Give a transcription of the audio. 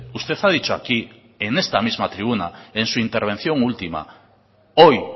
usted ha dicho aquí en esta misma tribuna en su intervención última hoy